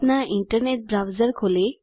अपना internet browser खोलें